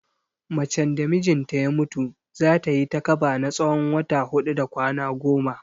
Macen da mijinta ya mutu, za ta yi takaba na tsawon wata huɗu da kwana goma.